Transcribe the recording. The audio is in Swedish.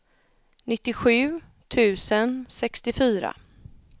nittiosju tusen sextiofyra